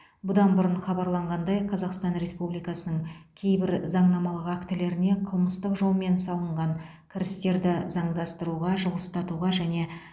бұдан бұрын хабарланғандай қазақстан республикасының кейбір заңнамалық актілеріне қылмыстық жолмен салынған кірістерді заңдастыруға жылыстатуға және